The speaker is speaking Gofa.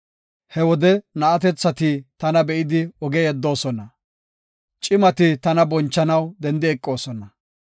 He wode na7atethati tana be7idi oge yeddoosona; cimati tana bonchanaw dendi eqidosona.